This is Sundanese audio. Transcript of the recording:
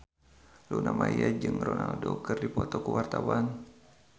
Luna Maya jeung Ronaldo keur dipoto ku wartawan